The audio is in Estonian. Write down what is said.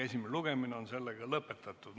Esimene lugemine on lõpetatud.